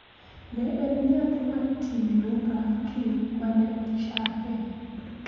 Ne en nyathi Martin Luther King ma ne ochake